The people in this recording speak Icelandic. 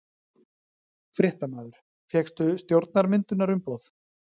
Fréttamaður: Fékkstu stjórnarmyndunarumboð?